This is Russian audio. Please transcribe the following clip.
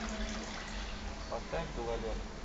поставь гололед